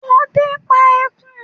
Ọdẹ pá ẹkùn.